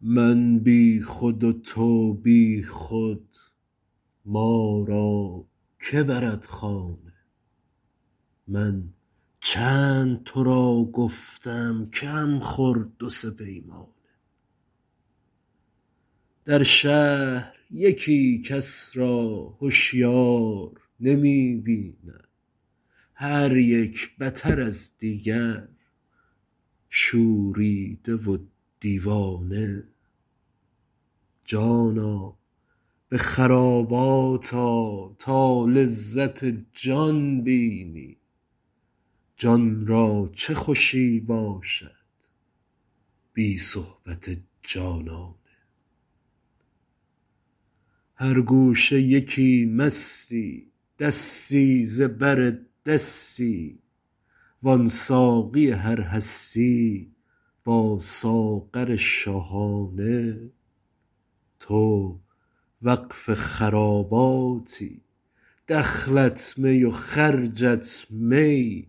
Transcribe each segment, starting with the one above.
من بی خود و تو بی خود ما را که برد خانه من چند تو را گفتم کم خور دو سه پیمانه در شهر یکی کس را هشیار نمی بینم هر یک بتر از دیگر شوریده و دیوانه جانا به خرابات آ تا لذت جان بینی جان را چه خوشی باشد بی صحبت جانانه هر گوشه یکی مستی دستی ز بر دستی وان ساقی هر هستی با ساغر شاهانه تو وقف خراباتی دخلت می و خرجت می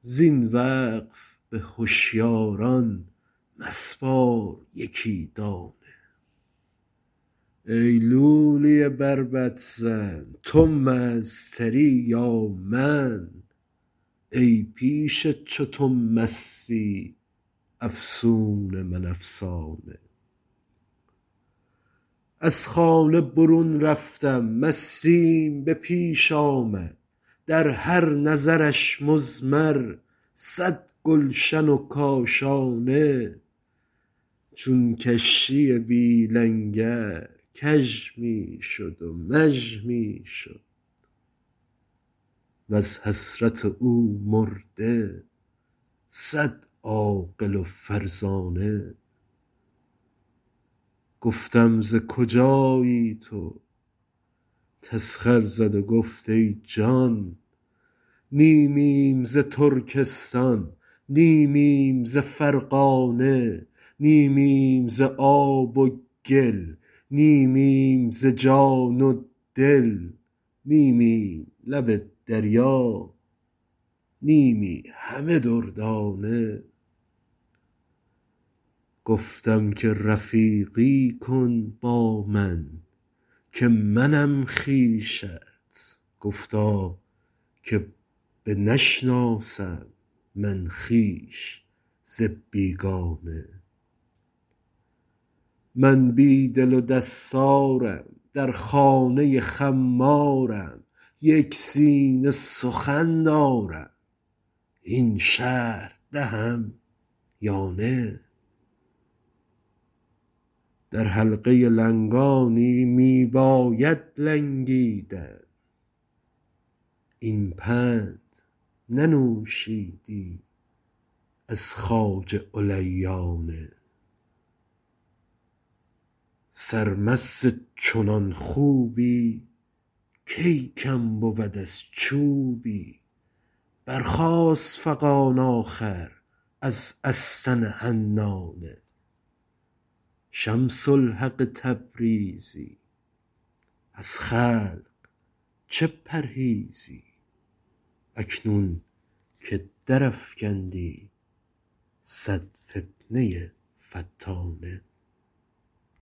زین وقف به هشیاران مسپار یکی دانه ای لولی بربط زن تو مست تری یا من ای پیش چو تو مستی افسون من افسانه از خانه برون رفتم مستیم به پیش آمد در هر نظرش مضمر صد گلشن و کاشانه چون کشتی بی لنگر کژ می شد و مژ می شد وز حسرت او مرده صد عاقل و فرزانه گفتم ز کجایی تو تسخر زد و گفت ای جان نیمیم ز ترکستان نیمیم ز فرغانه نیمیم ز آب و گل نیمیم ز جان و دل نیمیم لب دریا نیمی همه دردانه گفتم که رفیقی کن با من که منم خویشت گفتا که بنشناسم من خویش ز بیگانه من بی دل و دستارم در خانه خمارم یک سینه سخن دارم هین شرح دهم یا نه در حلقه لنگانی می بایدت لنگیدن این پند ننوشیدی از خواجه علیانه سرمست چنان خوبی کی کم بود از چوبی برخاست فغان آخر از استن حنانه شمس الحق تبریزی از خلق چه پرهیزی اکنون که درافکندی صد فتنه فتانه